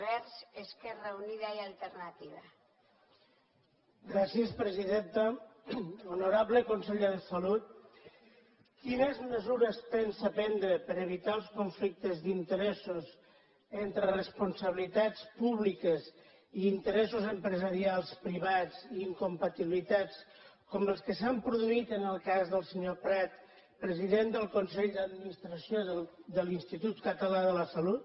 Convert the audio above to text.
honorable conseller de salut quines mesures pensa prendre per evitar els conflictes d’interessos entre responsabilitats públiques i interessos empresarials privats i incompatibilitats com els que s’han produït en el cas del senyor prat president del consell d’administració de l’institut català de la salut